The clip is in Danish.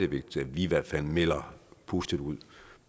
vigtigt at vi i hvert fald melder positivt ud